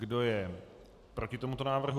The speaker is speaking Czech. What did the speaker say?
Kdo je proti tomuto návrhu?